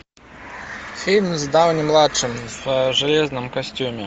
фильм с дауни младшим в железном костюме